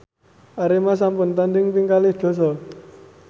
Arema sampun tandhing ping kalih dasa